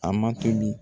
A ma tobi